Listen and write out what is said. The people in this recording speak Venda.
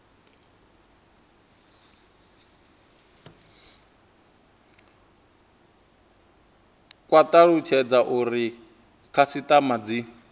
kwa talutshedza uri khasitama dzi